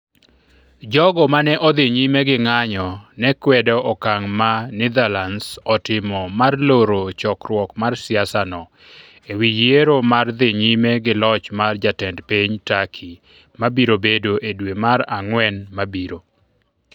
Jogo mane odhi nyime gi ng'anjo ne kwedo okang' ma Netherlands otimo mar loro chokruok mar siasa no, ewi yiero mar dhi nyime gi loch mar Jatend piny Turkey mabiro bedo e dwe mar Ang'wen mabiro.